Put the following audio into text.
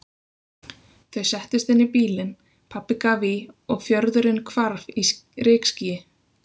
Þau settust inn í bílinn, pabbi gaf í og fjörðurinn hvarf í rykskýi.